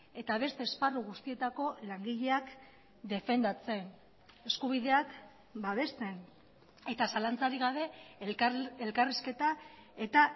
eta beste esparru guztietako langileak defendatzen eskubideak babesten eta zalantzarik gabe elkarrizketa eta